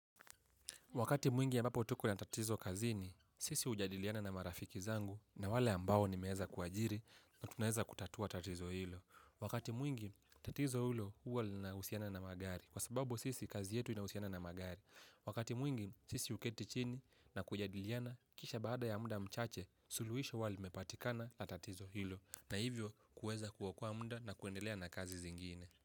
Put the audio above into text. Wakati mwingi ambapo tuko na tatizo kazini, sisi hujadiliana na marafiki zangu na wale ambao nimeweza kuajiri na tunaweza kutatua tatizo hilo. Wakati mwingi, tatizo hilo huwa linahusiana na magari. Kwa sababu sisi, kazi yetu inahusiana na magari. Wakati mwingi, sisi huketi chini na kujadiliana, kisha baada ya muda mchache, suluhisho huwa limepatikana na tatizo hilo. Na hivyo, kuweza kuokoa muda na kuendelea na kazi zingine.